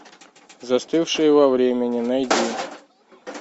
застывшие во времени найди